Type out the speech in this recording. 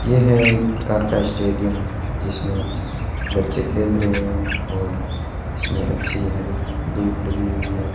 ये है एक प्रकार का स्टेडियम जिसमें बच्चे खेल रहे हैं और इसमें अच्छी हरी दूभ लगी हुई है।